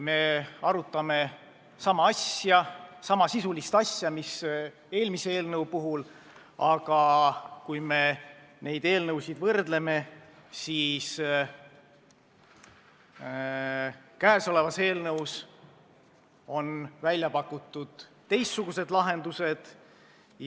Me arutame sisuliselt sama asja, mis eelmise eelnõu puhul, aga kui me neid eelnõusid võrdleme, siis näeme, et selles eelnõus on välja pakutud teistsugused lahendused.